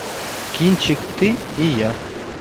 кинчик ты и я